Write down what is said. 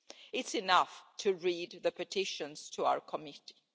It's enough to read the petitions to our committee.